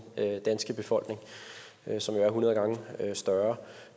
danske befolkning som jo er hundrede gange større